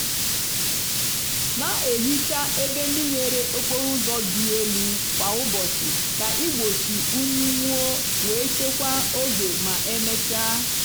na-ehicha ebe ndị nwere okporo ụzọ dị elu kwa ụbọchị ka igbochi unyi nwuo wee chekwaa oge ma emechaa.